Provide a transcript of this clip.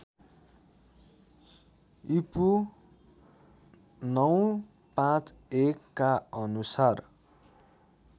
ईपू ९५१ का अनुसार